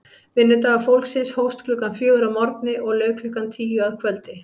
Vinnudagur fólksins hófst klukkan fjögur að morgni og lauk klukkan tíu að kvöldi.